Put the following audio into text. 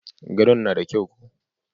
Gadon na da kyau ko?